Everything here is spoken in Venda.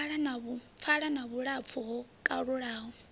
pfala na vhulapfu ho kalulaho